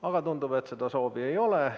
Aga tundub, et seda soovi ei ole.